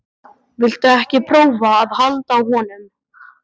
Viltu ekki prófa að halda á honum?